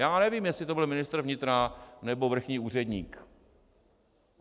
Já nevím, jestli to byl ministr vnitra, nebo vrchní úředník.